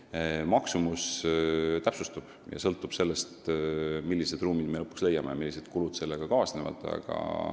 Kolimise maksumus täpsustub: see sõltub sellest, millised ruumid me lõpuks leiame ja millised kulud sellega kaasnevad.